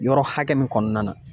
Yɔrɔ hakɛ min kɔnɔna na